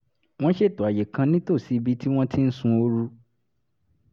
wọ́n ṣètò àyè kan nítòsí ibi tí wọ́n ti ń sun ooru